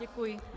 Děkuji.